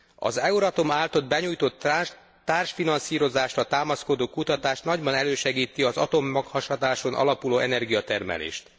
Az Euratom által benyújtott társfinanszírozásra támaszkodó kutatás nagyban elősegíti az atommaghasadáson alapuló energiatermelést.